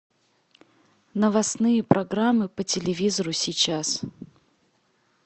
новостные программы по телевизору сейчас